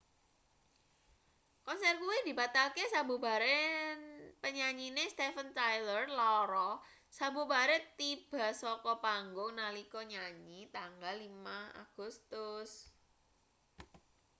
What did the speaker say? konser kuwi dibatalke sabubare penyanyine steven tyler lara sabubare tiba saka panggung nalika nyanyi tanggal 5 agustus